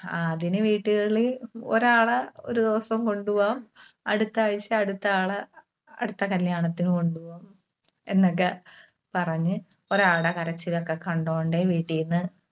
അതിന് വീട്ടുകളിൽ ഒരാളെ ഒരു ദിവസം കൊണ്ടുപോകാം. അടുത്താഴ്ച അടുത്ത ആളെ അടുത്ത കല്യാണത്തിന് കൊണ്ടുപോകാം എന്നൊക്കെ പറഞ്ഞ് ഒരാൾടെ കരച്ചിലൊക്കെ കണ്ടോണ്ട് വീട്ടീന്ന്